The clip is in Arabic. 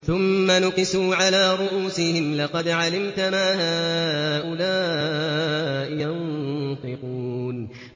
ثُمَّ نُكِسُوا عَلَىٰ رُءُوسِهِمْ لَقَدْ عَلِمْتَ مَا هَٰؤُلَاءِ يَنطِقُونَ